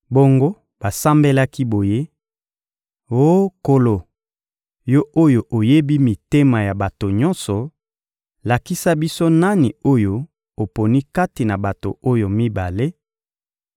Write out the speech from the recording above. Bongo basambelaki boye: «Oh Nkolo, Yo oyo oyebi mitema ya bato nyonso, lakisa biso nani oyo oponi kati na bato oyo mibale,